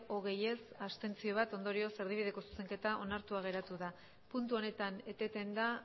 hogei ez bat abstentzio ondorioz erdibideko zuzenketa onartua geratu da puntu honetan eteten da